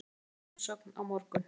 Skila umsögn á morgun